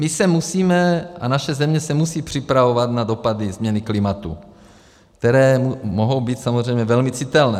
My se musíme a naše země se musí připravovat na dopady změny klimatu, které mohou být samozřejmě velmi citelné.